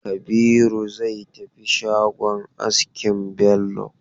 Kabiru zai tafi shagon askin Bello.